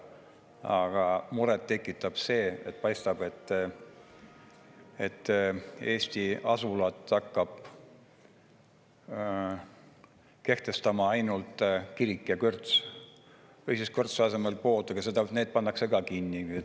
Aga muret tekitab see, et paistab, et Eesti asulat hakkab kehtestama ainult kirik ja kõrts või siis kõrtsi asemel pood, aga need pannakse ka kinni.